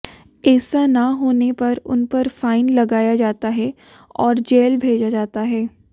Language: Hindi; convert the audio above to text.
ऐसा न होने पर उनपर फाइन लगाया जाता है और जेल भेजा जाता है